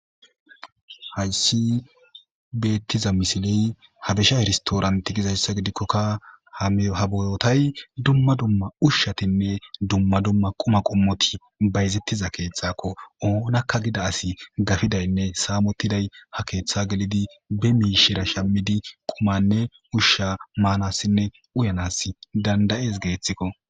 hayssi beettiza misiley habisha herstooranti gizayssa gidikkokka ha bootay dumma dumma ushshatinne dumma dumma quma qummoti bayzettiza keetxakko oonakka gida asi gafidaynne saamottiday ha keeththa gelidi be miishira shamidi qumanne ushsha maanassinne uyanas dandayees geeththikko